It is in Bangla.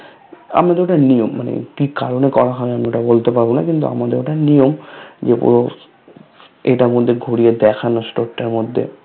আমাদের ওটা নিয়ম মানে কি কারণে করতে হয় আমি ওটা বলতে পারবোনা কিন্তু ওটা নিয়ম যে পুরো এটার মধ্যে ঘুরিয়ে দেখানো Store টার মধ্যে